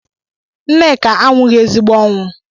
Nneka anwụghị ezigbo ọnwụ